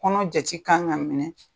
Kɔnɔ jate ka kan ka minɛ